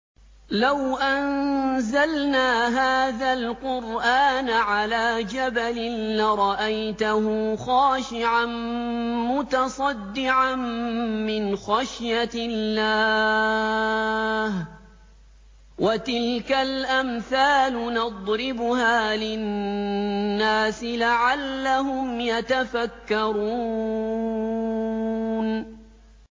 لَوْ أَنزَلْنَا هَٰذَا الْقُرْآنَ عَلَىٰ جَبَلٍ لَّرَأَيْتَهُ خَاشِعًا مُّتَصَدِّعًا مِّنْ خَشْيَةِ اللَّهِ ۚ وَتِلْكَ الْأَمْثَالُ نَضْرِبُهَا لِلنَّاسِ لَعَلَّهُمْ يَتَفَكَّرُونَ